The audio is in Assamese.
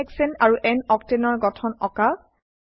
n হেশানে আৰু n অক্টেন ৰ গঠন আঁকা